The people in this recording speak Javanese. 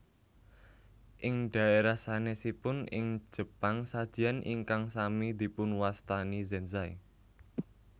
Ing dhaérah sanèsipun ing Jepang sajian ingkang sami dipunwastani zenzai